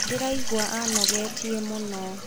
Ndĩraigua anogetie mũno.